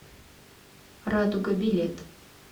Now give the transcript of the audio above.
радуга билет